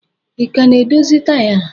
Ị ka na-edozi taya a?